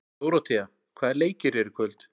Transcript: Dóróthea, hvaða leikir eru í kvöld?